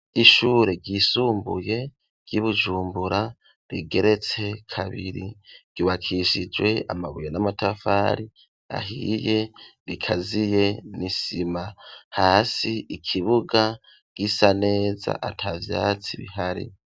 Ishure ryisumbuye ry'i Bujumbura rigeretse kabiri ryubakishijwe amabuye n'amatafari ahiye bikaziye n'isima. Hasi ikibuga gisa neza ata vyatsi bihari.